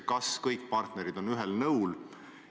Kas kõik partnerid on ühel nõul?